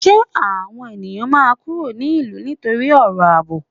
Ṣé àwọn ènìyàn máa kúrò ní ìlú nítorí ọ̀rọ̀ àbò?